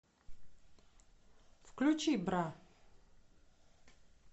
включи бра